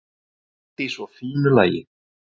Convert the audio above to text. Allt í svo fínu lagi.